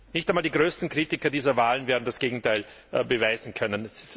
Nicht einmal die größten Kritiker dieser Wahlen werden das Gegenteil beweisen können.